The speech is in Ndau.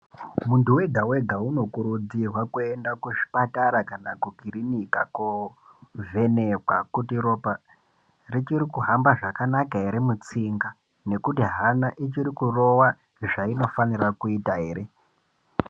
Muntu wega-wega unokurudzirwa kuenda kuzvipatara kana kukirinika kovhenekwa kuti ropa richiri kuhamba zvakanaka ere mutsinga nekuti hana ichiri kurova zvainofanira kuita ere.